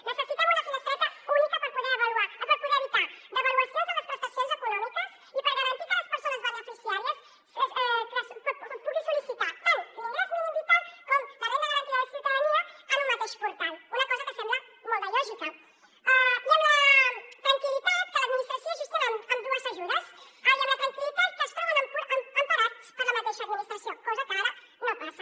necessitem una finestreta única per poder evitar devaluacions en les prestacions econòmiques i per garantir que les persones beneficiàries puguin sol·licitar tant l’ingrés mínim vital com la renda garantida de ciutadania en un mateix portal una cosa que sembla molt de lògica i amb la tranquil·litat que l’administració gestiona ambdues ajudes amb la tranquil·litat que es troben emparats per la mateixa administració cosa que ara no passa